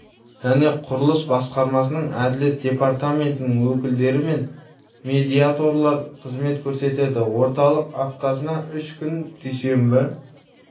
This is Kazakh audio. және құрылыс басқармасының әділет департаментінің өкілдері мен медиаторлар қызмет көрсетеді орталық аптасына үш күн дүйсенбі